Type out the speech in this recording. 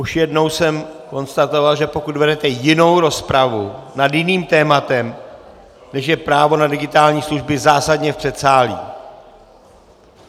Už jednou jsem konstatoval, že pokud vedete jinou rozpravu nad jiným tématem, než je právo na digitální služby, zásadně v předsálí!